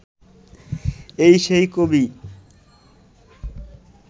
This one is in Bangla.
এই সেই কবি